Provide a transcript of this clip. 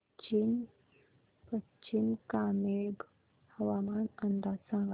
पश्चिम कामेंग हवामान अंदाज सांगा